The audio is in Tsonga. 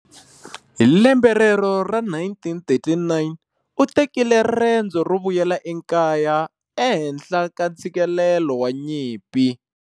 Hilembe rero ra 1939, utekile rendzo ro vuyela ekaya, ehenhla ka ntsikelelo wa nyimpi.